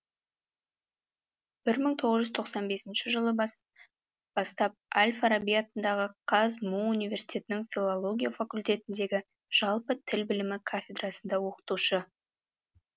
бір мың тоғыз жүз тоқсан бесінші жылы бастап әл фараби атындағы қазму университетінің филология факультетіндегі жалпы тіл білімі кафедрасында оқытушы